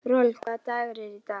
Rolf, hvaða dagur er í dag?